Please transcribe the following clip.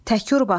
Tekur basıldı.